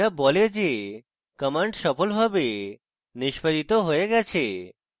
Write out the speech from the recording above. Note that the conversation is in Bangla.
যা বলে যে command সফলভাবে নিস্পাদিত হয়ে গেছে